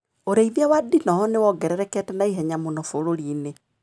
ũrĩithia wa ndinoho nĩwongererekete na ihenya mũno bũrurinĩ.